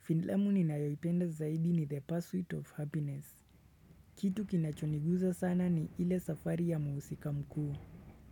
Filamu ninayoipenda zaidi ni the pursuit of happiness. Kitu kinachoniguza sana ni ile safari ya mhusika mkuu.